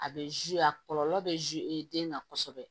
A bɛ a kɔlɔlɔ bɛ den kan kosɛbɛ